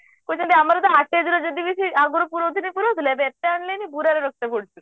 ଓ ଯେମିତି ଆମର ଆଟାଜ ରେ ଯଦିବି ସେ ଆଗରୁ ପୁରଉଥିଲେ ପୁରଉଥିଲେ ଏବେ ଏତେ ଆଣିଲିଣି ବୁରାରେ ରଖିବାକୁ ପଡୁଛି